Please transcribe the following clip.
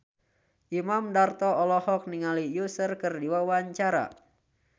Imam Darto olohok ningali Usher keur diwawancara